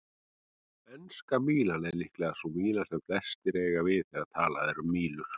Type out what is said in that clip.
Enska mílan er líklega sú míla sem flestir eiga við þegar talað er um mílur.